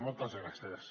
moltes gràcies